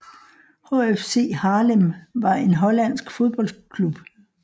HFC Haarlem var en hollandsk fodboldklub